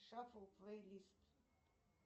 шафл плей лист